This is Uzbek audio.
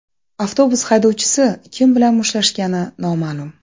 Avtobus haydovchisi kim bilan mushtlashgani noma’lum.